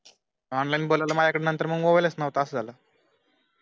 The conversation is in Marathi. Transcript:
online बोलावलं माझ्या कड नंतर मग mobile न्हवता मंग अस झालं